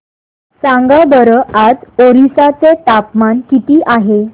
सांगा बरं आज ओरिसा चे तापमान किती आहे